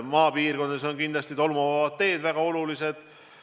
Maapiirkondades on kindlasti väga olulised tolmuvabad teed.